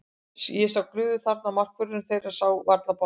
Ég sá glufu þarna og markvörðurinn þeirra sá varla boltann.